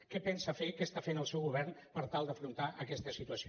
què pensa fer què està fent el seu govern per tal d’afrontar aquesta situació